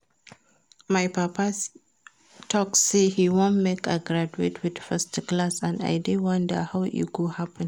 My papa talk say he wan make I graduate with first class and I dey wonder how e go happen